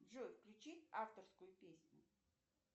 джой включи авторскую песню